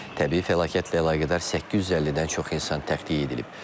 Təbii fəlakətlə əlaqədar 850-dən çox insan təxliyə edilib.